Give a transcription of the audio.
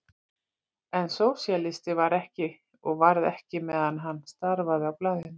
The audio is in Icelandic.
En sósíalisti var hann ekki og varð ekki meðan hann starfaði á blaðinu.